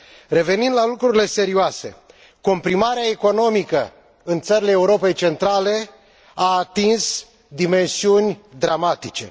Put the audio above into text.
Revenind la lucrurile serioase, comprimarea economică în țările Europei centrale a atins dimensiuni dramatice.